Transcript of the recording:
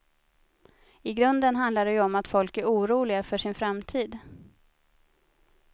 I grunden handlar det ju om att folk är oroliga för sin framtid.